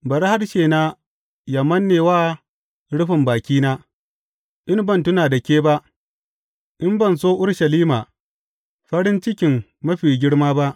Bari harshena yă manne wa rufin bakina in ban tuna da ke ba, in ban so Urushalima farin cikin mafi girma ba.